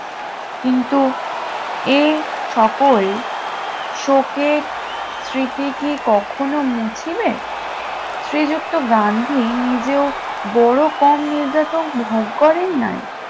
কিন্তু এ সকল শোকের স্মৃতি কি কখনো মুছিবে? শ্রীযুক্ত গান্ধী নিজেও বড় কম নির্যাতন ভোগ করেন নাই